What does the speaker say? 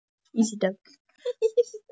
Og þéttvaxin lögga, grá í vöngum.